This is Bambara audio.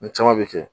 N caman bɛ kɛ